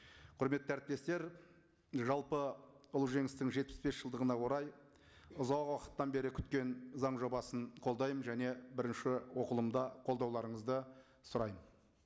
құрметті әріптестер жалпы ұлы жеңістің жетпіс бес жылдығына орай ұзақ уақыттан бері күткен заң жобасын қолдаймын және бірінші оқылымда қолдауларыңызды сұраймын